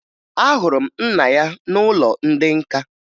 Ahụrụ m nna ya n'ụlọ ndị nka